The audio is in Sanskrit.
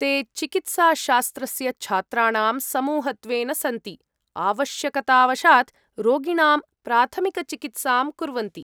ते चिकित्साशास्त्रस्य छात्राणां समूहत्वेन सन्ति, आवश्यकतावशात् रोगिणां प्राथमिकचिकित्सां कुर्वन्ति।